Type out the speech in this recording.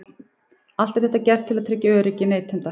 Allt er þetta gert til þess að tryggja öryggi neytenda.